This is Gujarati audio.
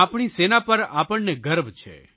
આપણી સેના પર આપણને ગર્વ છે